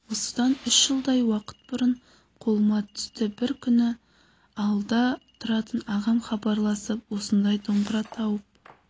осыдан үш жылдай уақыт бұрын қолыма түсті бір күні ауылда тұратын ағам хабарласып осындай домбыра тауып